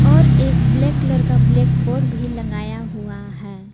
और एक black colour का ब्लैक बोर्ड भी लगाया हुआ है।